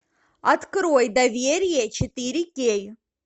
открой доверие четыре кей